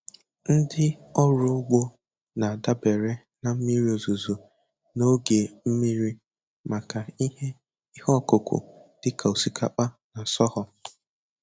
Ndị ọrụ ugbo na-adabere na mmiri ozuzo na oge mmiri maka ihe ihe ọkụkụ dị ka osikapa na sorghum.